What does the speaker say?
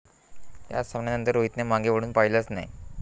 या सामन्यानंतर रोहितने मागे वळून पाहिलंच नाही.